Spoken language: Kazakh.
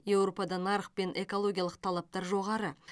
еуропада нарық пен экологиялық талаптар жоғары